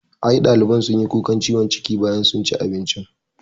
I ɗaliban sunyi kukan ciwon ciki bayan sun ci abincin